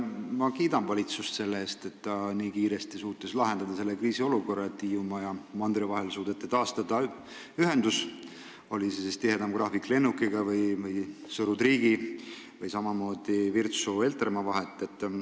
Ma kiidan valitsust selle eest, et ta suutis nii kiiresti kriisiolukorra ära lahendada ning ühenduse Hiiumaa ja mandri vahel taastada, oli see siis tihedam lennugraafik või laevaühendus Sõru–Triigi või Virtsu–Heltermaa vahel.